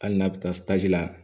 Hali n'a bɛ taa la